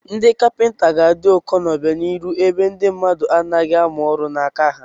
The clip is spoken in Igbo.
Ndị kapịnta ga-adị ụkọ n'obianihu ebe ndị mmadụ anaghị amụ ọrụ n'aka ha.